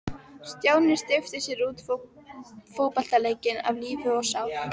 Stjáni steypti sér út í fótboltaleikinn af lífi og sál.